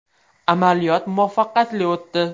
Amaliyot muvaffaqiyatli o‘tdi.